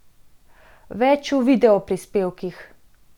Več v videoprispevkih!